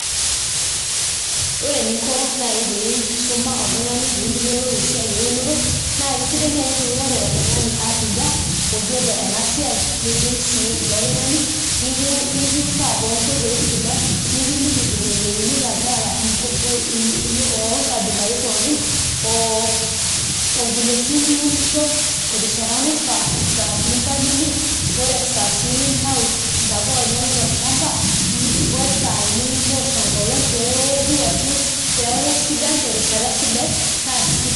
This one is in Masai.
Ore eningo naai pisuma oltung'ani peeyiolou ena esiai eunore naa kisidai naai piing'oru oltung'ani arriyia, oyiolo ena siai nidim sii ilo tung'ani likiutaa toonkoitoi sidan nikiliki vile neuni ilanterera loongabilarin pookin, o vile sii niunisho, terishata naifaa, esaa nimbalilia, otesaa sii nintau intapuka inonok tolchamba osaa nintoosho enkolong', peewoku ashu peeku sidan terishata sidai naakisidai.